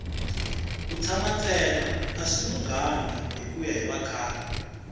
ku tshana ntsena a swi lunghanga hikuya hi vakhale